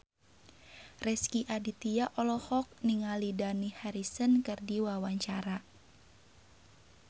Rezky Aditya olohok ningali Dani Harrison keur diwawancara